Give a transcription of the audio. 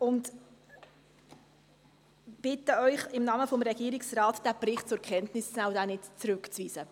Ich bitte Sie, diesen Bericht im Namen des Regierungsrates zur Kenntnis zu nehmen und ihn nicht zurückzuweisen.